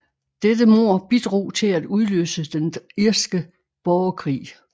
Dette mord bidrog til at udløse den Den irske borgerkrig